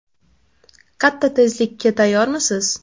Katta tezlikka tayyormisiz?